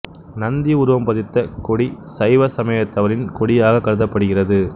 நந்தி உருவம் பதித்த கொடி சைவ சமயத்தவரின் கொடியாகக் கருதப்படுகிறது